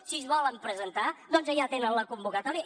si es volen presentar doncs allà tenen la convocatòria